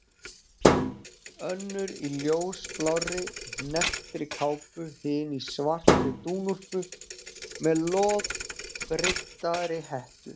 Önnur í ljósblárri, hnepptri kápu, hin í svartri dúnúlpu með loðbryddaðri hettu.